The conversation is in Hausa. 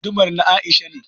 Gudumar na Aisha ne